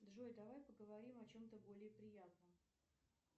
джой давай поговорим о чем то более приятном